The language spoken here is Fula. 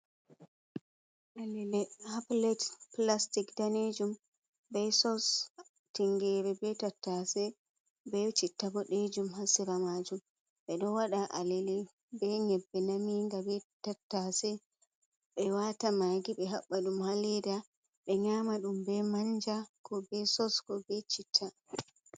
Alele ha der pilet plastic danejum be soss. Tingere be tattase be citta bodejum ha sera majum. Be do wada alele be nyebbe naminga. Be wata magi be habba ɗum ha leda be nyaama dum be manja ko be soss ko be citta.